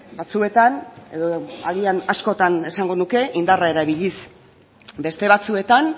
batzuetan edo agian askotan esango nuke indarra erabiliz beste batzuetan